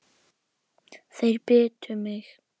Þeir bitu mig.